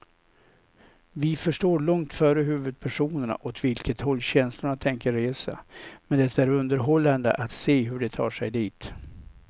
Vi förstår långt före huvudpersonerna åt vilket håll känslorna tänker resa, men det är underhållande att se hur de tar sig dit.